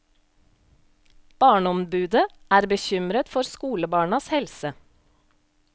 Barneombudet er bekymret for skolebarnas helse.